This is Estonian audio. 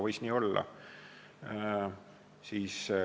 Võis nii olla.